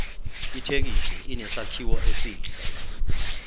ithekisi inesakhiwo esihle